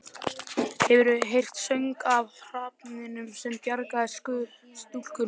Hefurðu heyrt söguna af hrafninum sem bjargaði stúlkunni?